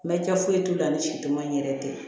Mɛ kɛ foyi t'u la ni situ ma in yɛrɛ tɛ